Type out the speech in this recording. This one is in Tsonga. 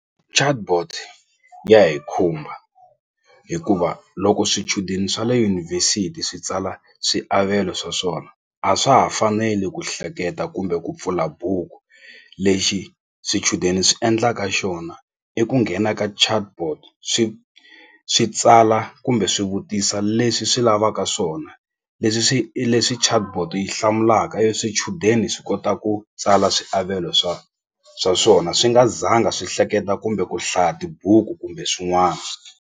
Chatbot ya hi khumba hikuva loko swichudeni swa le yunivhesiti swi tsala swiavelo swa swona a swa ha faneli ku hleketa kumbe ku pfula buku lexi swichudeni swi endlaka xona i ku nghena ka chatbot swi swi tsala kumbe swi vutisa leswi swi lavaka swona leswi swi leswi chatbot yi hlamulaka e swichudeni swi kota ku tsala swiavelo swa swa swona swi nga zanga swi hleketa kumbe ku hlaya tibuku kumbe swin'wana.